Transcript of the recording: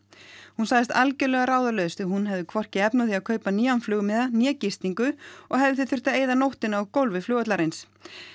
hún sagðist algjörlega ráðalaus því hún hefði hvorki efni á því að kaupa nýjan flugmiða né gistingu og hefði því þurft að eyða nóttinni á gólfi flugvallarins